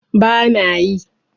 ba na yi